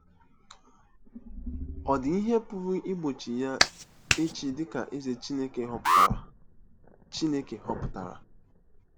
Ọ̀ dị ihe pụrụ igbochi ya ịchị dị ka Eze Chineke họpụtara? Chineke họpụtara?